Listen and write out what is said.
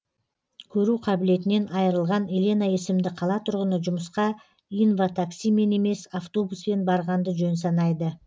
көру қабілетінен айырылған елена есімді қала тұрғыны жұмысқа инватаксимен емес автобуспен барғанды жөн санайды